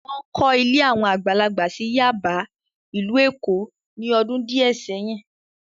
Wọ́n kọ́ ilé àwọn àgbàlagbà sí Yáàbá, ìlú Èkó ní ọdún díẹ̀ sẹ́yìn.